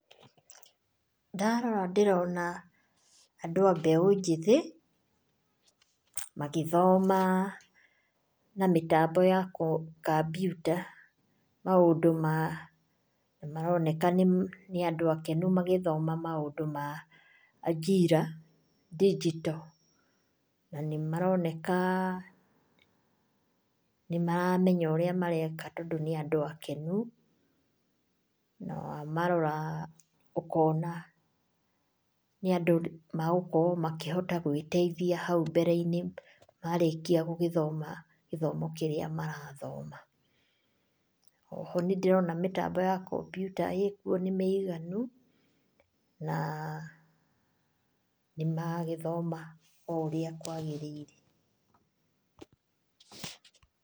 Ndarora ndĩrona andũ ambeo njĩthĩ magĩthoma na mĩtambo ya kambiuta maũndũ ma maroneka nĩ andũ akenu magĩthoma Ajira digital na nĩ maroneka nĩ maramenya ũrĩa mareka tondũ nĩ andũ akenu. Na wamarora ũkona nĩ andũ megũkorwo magĩteithia hau mbere inĩ marĩkia gũthoma gĩthomo kĩrĩa marathoma. Oho nĩ ndĩrona mĩtambo ya kambiuta nĩ mĩiganu na nĩ maragĩthoma ũrĩa kwagĩrĩire.